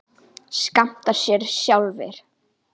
skammta sér sjálfir